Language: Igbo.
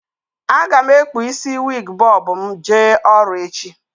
A ga m ekpu isi wiig bọb m jee ọrụ echi